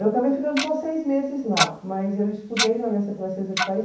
Eu acabei ficando só seis meses lá, mas eu estudei na Aliança Francesa de Paris.